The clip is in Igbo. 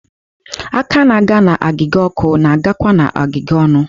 Aka na-aga n'agịga ọkụ na-agakwa n'agiga ọnụ.